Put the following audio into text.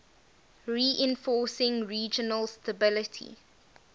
reinforcing regional stability